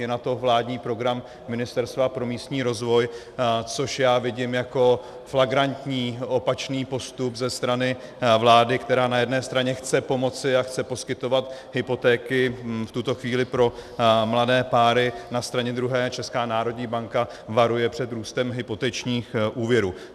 Je na to vládní program Ministerstva pro místní rozvoj, což já vidím jako flagrantní opačný postup ze strany vlády, která na jedné straně chce pomoci a chce poskytovat hypotéky v tuto chvíli pro mladé páry, na straně druhé Česká národní banka varuje před růstem hypotečních úvěrů.